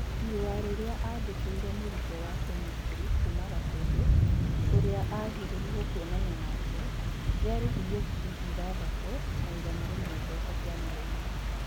Irũa rĩrĩa andikĩire mũrutwo wa kemĩstrĩ kuuma Gatundũ, ũrĩa agirirĩo kuonana nake rĩa rĩhirĩo ngirĩ ithathatũna igana rĩmwe mbeca cia mũrimo.